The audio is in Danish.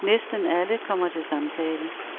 Næsten alle kommer til samtale.